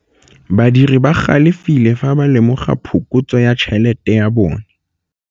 Badiri ba galefile fa ba lemoga phokotsô ya tšhelête ya bone.